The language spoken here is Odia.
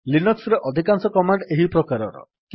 ଲିନକ୍ସ୍ ରେ ଅଧିକାଂଶ କମାଣ୍ଡ୍ ଏହି ପ୍ରକାରର